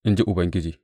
In ji Ubangiji.